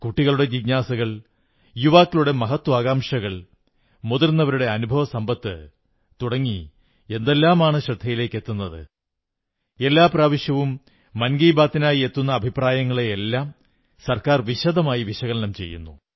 കുട്ടികളുടെ ജിജ്ഞാസകൾ യുവക്കളുടെ മഹത്വാകാംക്ഷകൾ മുതിർന്നവരുടെ അനുഭവസമ്പത്ത് തുടങ്ങി എന്തെല്ലാമാണ് ശ്രദ്ധയിലേക്കെത്തുന്നത് എല്ലാ പ്രാവശ്യവും മൻ കീ ബാത്തിനായി എത്തുന്ന അഭിപ്രായങ്ങളെയെല്ലാം സർക്കാർ വിശദമായി വിശകലനം ചെയ്യുന്നു